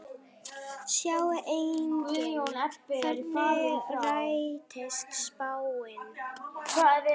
Sjá einnig: Hvernig rættist spáin?